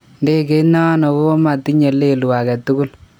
Ndeget nano kokomatinye lelu aketugul